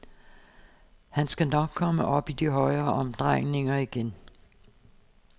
Han skal nok komme op i de høje omdrejninger igen.